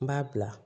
N b'a bila